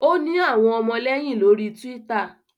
o ni awọn ọmọlẹyin lori twitter